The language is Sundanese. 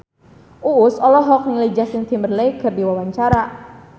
Uus olohok ningali Justin Timberlake keur diwawancara